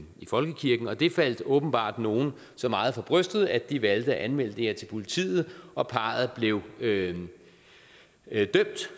i folkekirken og det faldt åbenbart nogle så meget for brystet at de valgte at anmelde det her til politiet og parret blev dømt